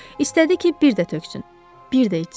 İstədi ki, bir də töksün, bir də içsin.